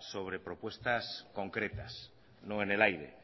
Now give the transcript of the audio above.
sobre propuestas concretas no en el aire